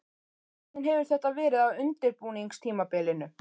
Hvernig hefur þetta verið á undirbúningstímabilinu?